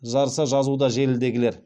жарыса жазуда желідегілер